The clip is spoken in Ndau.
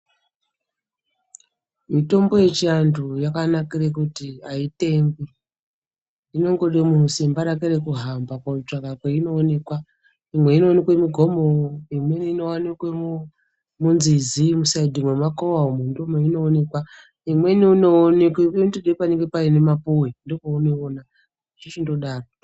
Mitombo yechianhu yakanakire kuti aitengwi zvinongode munhu simba rake rekuhamba kotsvaka kweinoonekwa imwe inooneke mugomo ,imweni inowanike munzizi, muritiirwemikowa, imweni inoonekwa, inotode panenge paine mapuwe ndipo paunoiona, zvechichindodaro.